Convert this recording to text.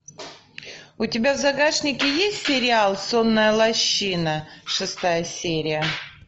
у тебя в загашнике есть сериал сонная лощина шестая серия